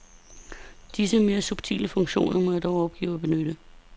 Disse mere subtile funktioner må jeg dog opgive at benytte.